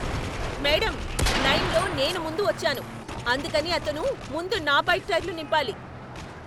Madam, లైన్లో నేను ముందు వచ్చాను, అందుకని అతను ముందు నా బైక్ టైర్లు నింపాలి.